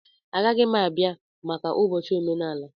Agaghị m abịa maka ụbọchị omenala.